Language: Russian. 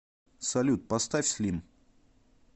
салют поставь слим